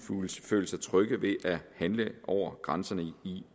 føle sig trygge ved at handle over grænserne